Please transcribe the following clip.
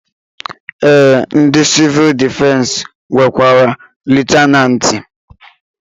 Ee ndị sivuul difensi nwekwara Liyutenanti